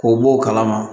K'o bɔ o kalama